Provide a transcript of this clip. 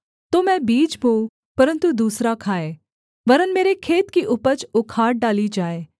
तो मैं बीज बोऊँ परन्तु दूसरा खाए वरन् मेरे खेत की उपज उखाड़ डाली जाए